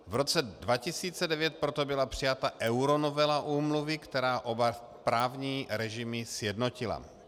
V roce 2009 proto byla přijata euronovela úmluvy, která oba právní režimy sjednotila.